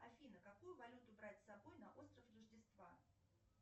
афина какую валюту брать с собой на остров рождества